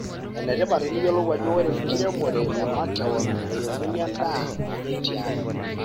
Enetipat teniyiolou ajo ore enkiremore e makewon naairemuni endaa nanyai tiang.